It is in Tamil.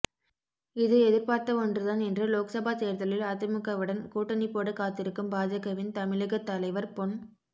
இது எதிர்பார்த்த ஒன்றுதான் என்று லோக்சபா தேர்தலில் அதிமுகவுடன் கூட்டணி போட காத்திருக்கும் பாஜகவின் தமிழக தலைவர் பொன்